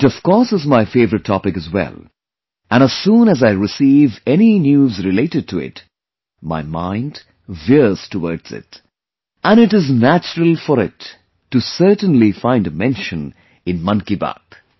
It of course is my favorite topic as well and as soon as I receive any news related to it, my mind veers towards it... and it is naturalfor it to certainly find a mention in 'Mann Ki Baat'